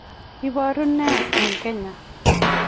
iboru nee nitok eng kenya?